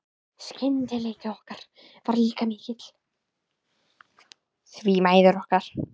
Skyldleiki okkar var líka mikill, því mæður okkar